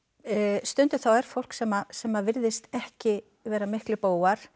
stundum er fólk sem sem virðist ekki vera miklir bógar